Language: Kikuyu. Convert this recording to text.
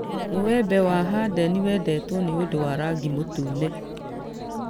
Mũĩembe wa hadeni wendetwo nĩ ũndũ wa rangi mũtune